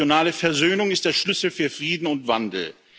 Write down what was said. Regionale Versöhnung ist der Schlüssel zu Frieden und Wandel.